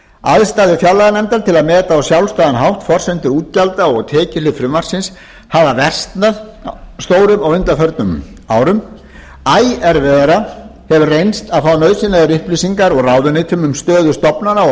aðstæður fjárlaganefndar til að meta á sjálfstæðan hátt forsendur útgjalda og tekjuhlið frumvarpsins hafa versnað stórum á undanförnum árum æ erfiðara hefur reynst að fá nauðsynlegar upplýsingar úr ráðuneytum um stöðu stofnana og